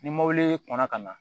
Ni mobili kɔnna ka na